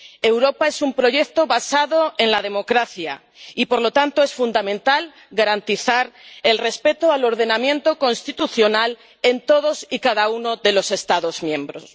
Europa es un proyecto basado en la democracia y, por lo tanto, es fundamental garantizar el respeto al ordenamiento constitucional en todos y cada uno de los Estados miembros.